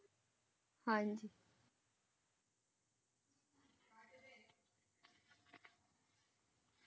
ਹਾਂਜੀ।